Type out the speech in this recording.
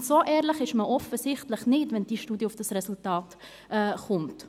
Und so ehrlich ist man offensichtlich nicht, wenn diese Studie zu diesem Resultat kommt.